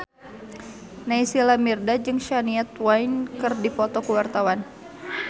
Naysila Mirdad jeung Shania Twain keur dipoto ku wartawan